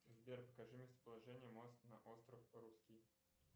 сбер покажи местоположение мост на остров русский